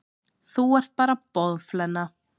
Þú ert bara boðflenna.